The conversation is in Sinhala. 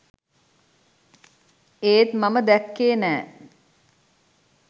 ඒත් මම දැක්කේ නෑ